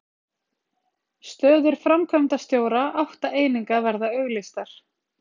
Stöður framkvæmdastjóra átta eininga verða auglýstar